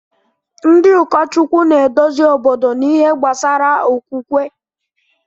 Ndị ụkọchukwu na-eduzi obodo n’ihe gbasara okwukwe.